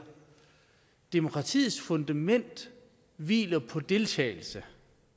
demokratiets fundament hviler på deltagelse